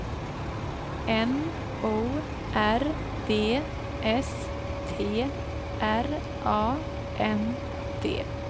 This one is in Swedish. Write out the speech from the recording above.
N O R D S T R A N D